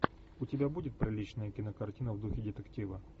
у тебя будет приличная кинокартина в духе детектива